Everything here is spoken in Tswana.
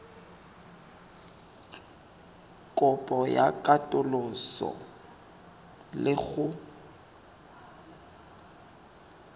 kopo ya katoloso le go